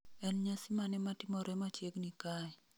en nyasi mane matimore machiegni kae